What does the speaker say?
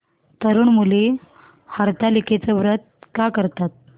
तरुण मुली हरतालिकेचं व्रत का करतात